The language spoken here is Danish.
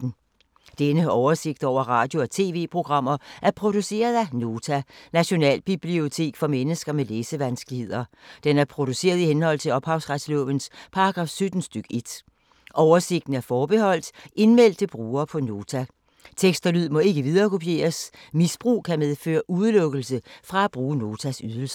Denne oversigt over radio og TV-programmer er produceret af Nota, Nationalbibliotek for mennesker med læsevanskeligheder. Den er produceret i henhold til ophavsretslovens paragraf 17 stk. 1. Oversigten er forbeholdt indmeldte brugere på Nota. Tekst og lyd må ikke viderekopieres. Misbrug kan medføre udelukkelse fra at bruge Notas ydelser.